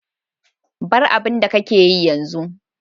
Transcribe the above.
Bar abun da ka ke yi yanzu.